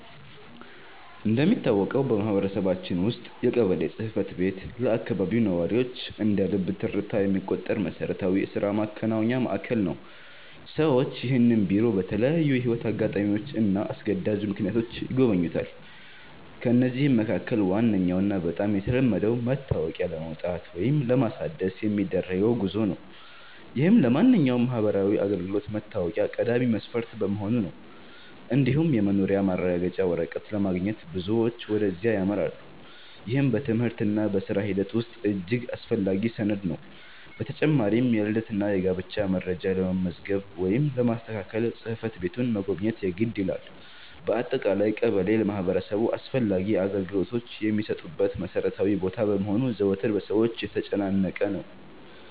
እንደሚታወቀው በማህበረሰባችን ውስጥ የቀበሌ ጽሕፈት ቤት ለአካባቢው ነዋሪዎች እንደ ልብ ትርታ የሚቆጠር መሠረታዊ የሥራ ማከናወኛ ማዕከል ነው። ሰዎች ይህንን ቢሮ በተለያዩ የሕይወት አጋጣሚዎችና አስገዳጅ ምክንያቶች ይጎበኙታል። ከነዚህም መካከል ዋነኛውና በጣም የተለመደው መታወቂያ ለማውጣት ወይም ለማሳደስ የሚደረገው ጉዞ ነው፤ ይህም ለማንኛውም ማህበራዊ አገልግሎት መታወቂያ ቀዳሚ መስፈርት በመሆኑ ነው። እንዲሁም የመኖሪያ ማረጋገጫ ወረቀት ለማግኘት ብዙዎች ወደዚያ ያመራሉ፤ ይህም በትምህርትና በሥራ ሂደት ውስጥ እጅግ አስፈላጊ ሰነድ ነው። በተጨማሪም የልደትና የጋብቻ መረጃ ለመመዝገብ ወይም ለማስተካከል ጽሕፈት ቤቱን መጎብኘት የግድ ይላል። በአጠቃላይ ቀበሌ ለማህበረሰቡ አስፈላጊ አገልግሎቶች የሚሰጡበት መሠረታዊ ቦታ በመሆኑ ዘወትር በሰዎች የተጨናነቀ ነው።